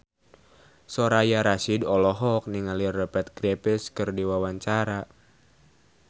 Soraya Rasyid olohok ningali Rupert Graves keur diwawancara